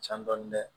Can dɔɔnin dɛ